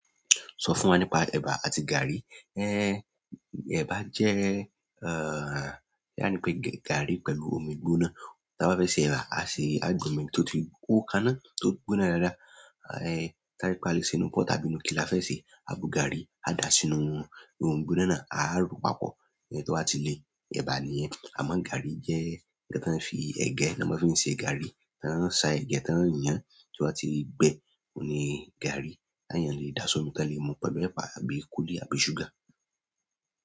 Sọ fún wa nípa ẹ̀bà àti gàrí. Ẹ̀bà jẹ́ eh, bóyá nípé gàrí pẹ̀lú omi í gbóná tí a bá fẹ́ ṣe ẹ̀bà, àá fi, àá gbé omi tó ti hó káná, tó gbóná dáadáa, eh, tarí pé alè sè ńnú pot tàbí ńnú kí la fẹ́ sè é, àá bu gàrí, àá dà á sínú inú omi gbígbóná náà, àá rò ó papọ̀, tó bá ti le, ẹ̀bà nìyẹn. Àmọ́ gàrí jẹ́ ǹkan tán fi ẹ̀gẹ́ ná má fi ń ṣe gàrí. Tán ó ṣa ẹ̀gẹ́, tán ó yan án, tó bá ti gbẹ, ni gàrí. Téyàn le dà á sómi, tán le mu pẹ̀lú ẹ̀pà àbí kúlí̀ àbí ṣúgà.